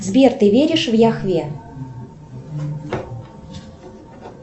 сбер ты веришь в яхве